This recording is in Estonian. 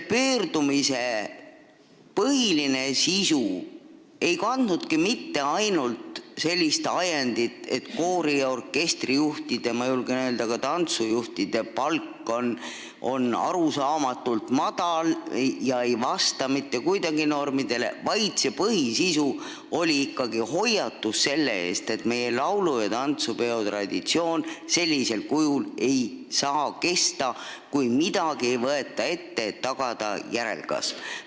Pöördumise põhiline sisu ei tulenenud mitte ainult sellest ajendist, et koori- ja orkestrijuhtide ning ma julgen öelda, et ka tantsujuhtide palk on arusaamatult madal ega vasta mitte kuidagi normidele, vaid selle põhisisu oli ikkagi hoiatus selle eest, et meie laulu- ja tantsupeo traditsioon sellisel kujul ei saa kesta, kui ei võeta midagi ette selleks, et tagada järelkasv.